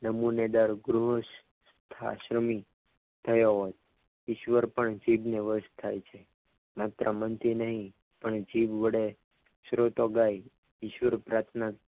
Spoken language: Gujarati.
નમુનેદે ગૃહસ ક્રમિત થયો હોય ઈશ્વર પણ ચીજને વસ થાય છે માત્ર મનથી નહીં પણ જીભ વડે સ્રોતો ગાય ઈશ્વર પ્રાર્થના